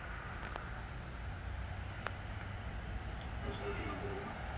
ஒரு circle ல நான் போட்டுக்குறேன்.